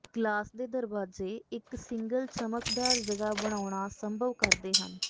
glass ਦੇ ਦਰਵਾਜ਼ੇ ਇੱਕ ਸਿੰਗਲ ਚਮਕਦਾਰ ਜਗ੍ਹਾ ਬਣਾਉਣਾ ਸੰਭਵ ਕਰਦੇ ਹਨ